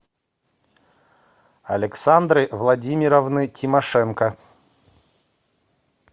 александры владимировны тимошенко